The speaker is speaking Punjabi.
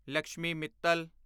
ਲਕਸ਼ਮੀ ਮਿੱਤਲ